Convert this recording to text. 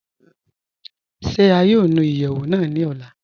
Ṣé à yóò nù ìyẹwu náà ní òlà?